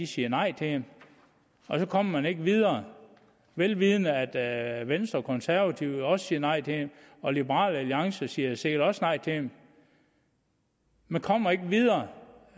siger nej til dem og så kommer man ikke videre velvidende at venstre og konservative også siger nej til dem og liberal alliance siger sikkert også nej til dem man kommer ikke videre